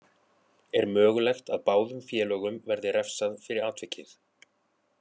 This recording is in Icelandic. Er mögulegt að báðum félögum verði refsað fyrir atvikið.